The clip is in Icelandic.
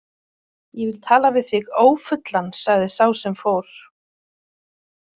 Ég vil tala við þig ófullan sagði sá sem fór.